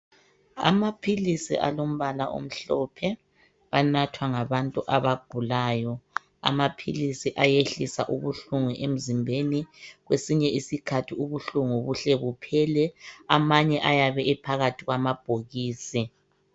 Amaphilisi alombala omhlophe anathwa ngabantu abagulayo amaphili ayehlisa ubuhlungu emzimbeni kwesinye isikhathi ubuhlungu kuhle kuphele amanye ayabe ephakathi kwamabhokisi.